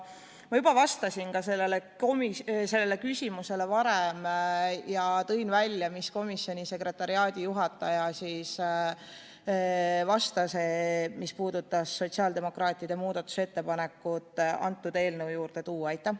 Ma juba vastasin sellele küsimusele ja tõin välja, mida komisjoni sekretariaadijuhataja vastas tuua sotsiaaldemokraatide muudatusettepanek sellesse eelnõusse üle.